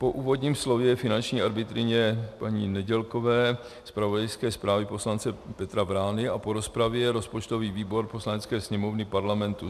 Po úvodním slově finanční arbitryně paní Nedělkové, zpravodajské zprávě poslance Petra Vrány a po rozpravě rozpočtový výbor Poslanecké sněmovny Parlamentu: